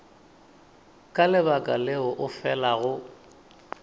ka lebaka leo o felago